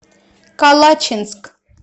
калачинск